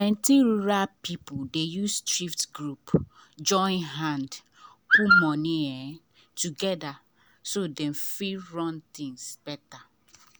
plenty rural people dey use village thrift group join hand put money um together so dem fit run things better.